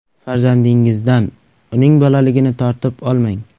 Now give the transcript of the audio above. Farzandingizdan uning bolaligini tortib olmang.